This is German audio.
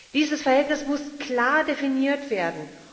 Dieses Verhältnis muss klar definiert werden.